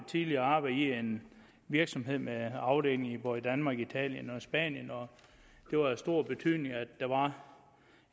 tidligere arbejdet i en virksomhed med afdelinger både i danmark italien og spanien og det var af stor betydning at der var